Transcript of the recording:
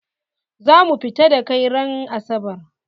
Za mu fita da kai ran asabar!